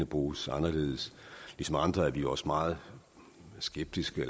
bruges anderledes ligesom andre er vi også meget skeptiske